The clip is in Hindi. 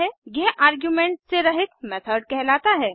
यह आर्गुमेंट से रहित मेथड कहलाता है